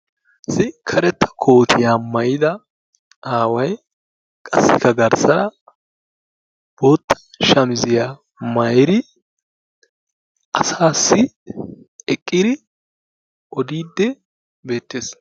Issi karetta kootiya maayida aaway qassikka garssa bootta shamiziya maayiri asaassi eqqiri odiidde beettees.